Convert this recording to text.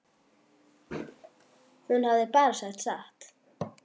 Hún hafði bara sagt satt.